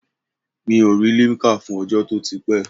Mi ò rí limkà fún ọjọ́ to ti pé?